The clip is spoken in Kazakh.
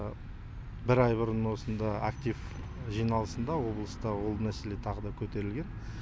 бір ай бұрын осында актив жиналысында облыста ол мәселе тағы да көтерілген